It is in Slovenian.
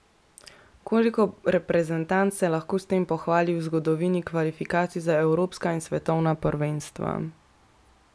Koliko reprezentanc se lahko s tem pohvali v zgodovini kvalifikacij za evropska in svetovna prvenstva?